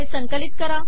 संकलित करा